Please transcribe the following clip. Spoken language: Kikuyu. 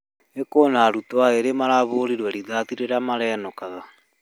ĨĨ kwĩna arutwo erĩ marahũrirwo rĩthathi rĩrĩa marainũkaga